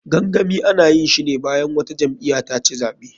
Gangami, ana yinshine bayan wata jam'iya taci zaɓe.